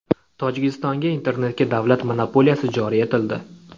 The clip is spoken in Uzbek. Tojikistonga internetga davlat monopoliyasi joriy etildi.